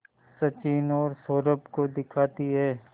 सचिन और सौरभ को दिखाती है